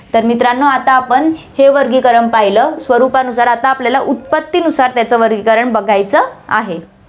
तर मित्रांनो, आता आपण हे वर्गीकरण पहिलं स्वरूपानुसार, आता आपल्याला उत्पत्तिनुसार त्याचं वर्गीकरण बघायचं आहे.